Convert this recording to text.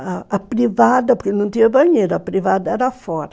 A a privada, porque não tinha banheiro, a privada era fora.